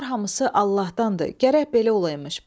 Bunlar hamısı Allahdandır, gərək belə olaymış.